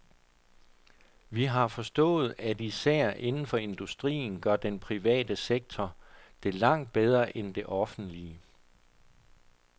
Vi har forstået, at især inden for industrien gør den private sektor det langt bedre end det offentlige.